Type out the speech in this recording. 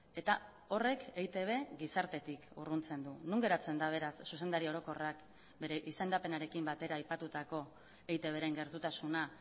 eta horrek eitb gizartetik urruntzen du non geratzen da beraz zuzendari orokorrak bere izendapenarekin batera aipatutako eitbren gertutasuna